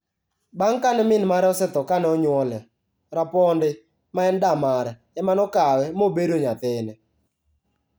Bang' kane min mare osetho kane onyuole, Rapondi, ma en da mare, ema ne okawe mobedo nyathine.